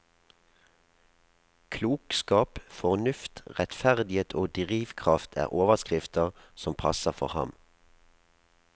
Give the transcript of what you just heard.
Klokskap, fornuft, rettferdighet og drivkraft er overskrifter som passer for ham.